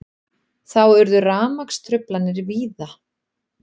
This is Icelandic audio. Þá urðu rafmagnstruflanir víða